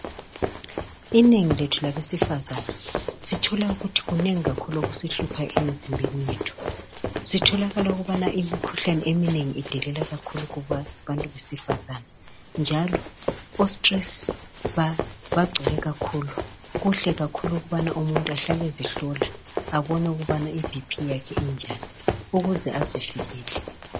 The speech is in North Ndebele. Inengi lethu labesifazane, sithole ukuthi kunengi kakhulu okusihlupha emizimbeni yethu. Kutholakala kakhulu ukuthi imikhuhlane eminengi idelela kakhulu kubantu besifazane njalo ostress bagcwele kakhulu. Kuhle kakhulu ukuthi umuntu ahlale ezihlola abone ukubana iBP yakhe injani ukuze azivikele.